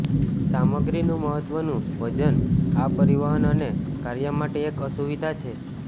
સામગ્રીનું મહત્વનું વજન આ પરિવહન અને કાર્ય માટે એક અસુવિધા છે